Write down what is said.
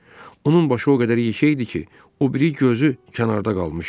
Onun başı o qədər yekə idi ki, o biri gözü kənarda qalmışdı.